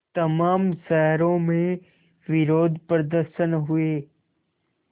तमाम शहरों में विरोधप्रदर्शन हुए